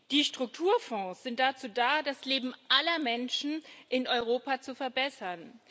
Die Strukturfonds sind dazu da, das Leben aller Menschen in Europa zu verbessern.